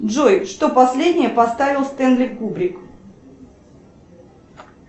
джой что последнее поставил стенли кубрик